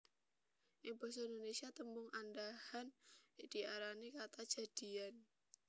Ing basa Indonesia tembung andhahan diarani kata jadian